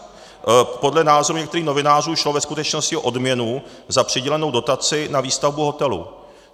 Podle názoru některých novinářů šlo ve skutečnosti o odměnu za přidělenou dotaci na výstavbu hotelu.